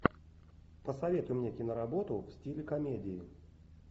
посоветуй мне киноработу в стиле комедии